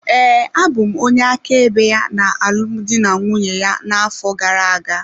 Ee, abụ m onye áká ebe ya na alụmdi na nwunye ya na-afọ gara-aga.